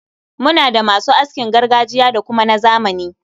Muna da ma su askin gargajiya da kuma na zamani.